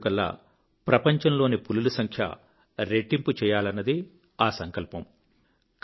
2022 కల్లా ప్రపంచంలోని పులుల సంఖ్య రెట్టింపు చేయాలన్నదే ఆ సంకల్పం